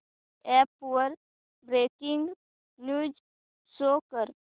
app वर breaking news show कर